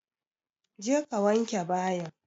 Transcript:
Je ka wanke bayin!